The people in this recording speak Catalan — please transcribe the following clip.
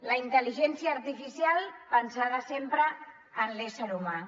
la intel·ligència artificial pensada sempre en l’ésser humà